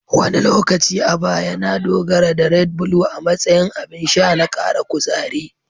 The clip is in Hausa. Wani lokaci a baya, na dogara da "Red Blue" a matsayin abin sha na kara kuzari.